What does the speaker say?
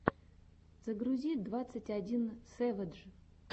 загрузи двадцать один сэвэдж